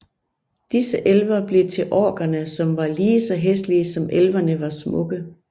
Disse elver blev til orkerne som var lige så hæslige som elverne var smukke